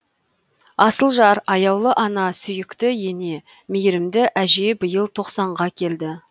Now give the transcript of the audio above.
асыл жар аяулы ана сүйікті ене мейірімді әже биыл тоқсанға келді